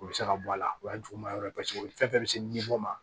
O bɛ se ka bɔ a la o y'a juguman yɔrɔ ye paseke fɛn fɛn bɛ se ni bɔ ma